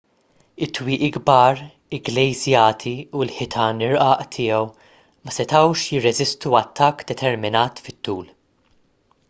it-twieqi kbar igglejżjati u l-ħitan irqaq tiegħu ma setgħux jirreżistu attakk determinat fit-tul